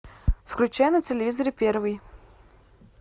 включай на телевизоре первый